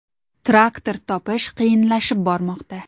Traktor topish qiyinlashib bormoqda.